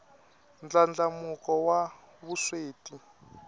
ndlandlamuko wa vusweti